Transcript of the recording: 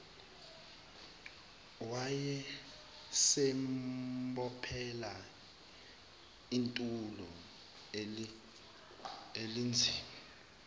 wayesembophele itulo elinzima